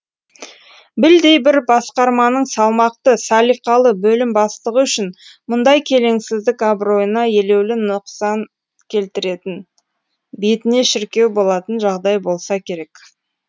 білдей бір басқарманың салмақты салиқалы бөлім бастығы үшін мұндай келеңсіздік абыройына елеулі нұқсан келтіретін бетіне шіркеу болатын жағдай болса керек